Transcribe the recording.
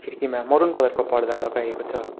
खिर्कीमा maroon colour को पर्दा लगाएको छ।